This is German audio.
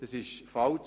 Dies ist falsch.